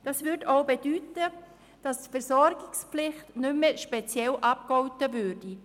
Das würde auch bedeuten, dass die Versorgungspflicht nicht mehr speziell abgegolten würde.